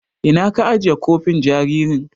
Ina ka ajiye kofin jaririn.